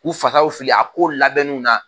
K'u fasaw fili a k kow labɛnniw na